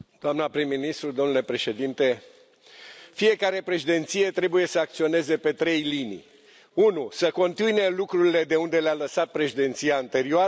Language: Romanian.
Domnule președinte, doamnă prim ministru, fiecare președinție trebuie să acționeze pe trei linii 1. să continue lucrurile de unde le a lăsat președinția anterioară 2.